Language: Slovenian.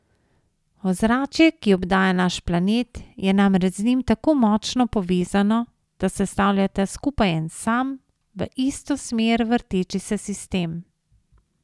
Ozračje, ki obdaja naš planet, je namreč z njim tako močno povezano, da sestavljata skupaj en sam, v isto smer vrteči se sistem.